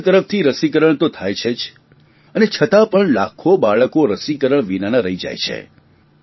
સરકાર તરફથી રસીકરણ તો થાય છે જ અને છતાં પણ લાખો બાળકો રસીકરણ વિનાનાં રહી જાય છે